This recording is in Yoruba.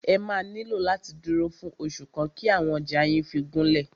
Ẹ máà nílò láti dúró fún oṣù kan kí àwọn ọjà yín fí gúnlẹ̀.